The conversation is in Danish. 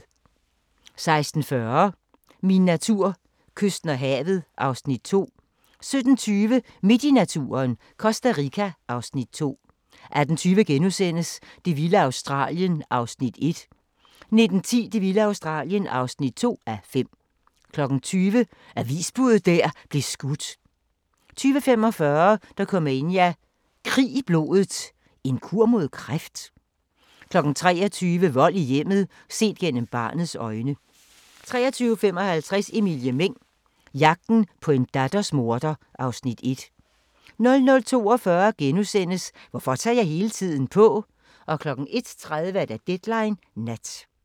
16:40: Min natur: Kysten og havet (Afs. 2) 17:20: Midt i naturen - Costa Rica (Afs. 2) 18:20: Det vilde Australien (1:5)* 19:10: Det vilde Australien (2:5) 20:00: Avisbuddet der blev skudt 20:45: Dokumania: Krig i blodet – en kur mod kræft? 23:00: Vold i hjemmet – set gennem barnets øjne 23:55: Emilie Meng – Jagten på en datters morder (Afs. 1) 00:42: Hvorfor tager jeg hele tiden på? * 01:30: Deadline Nat